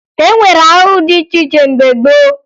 E nwere ahụhụ dị iche iche mgbe gboo